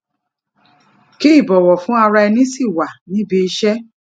kí ìbọwọ fún ara ẹni sì wà ní ibiiṣẹ